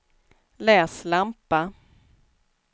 läslampa